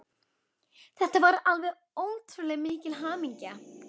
Þetta var alveg ótrúlega mikil hamingja.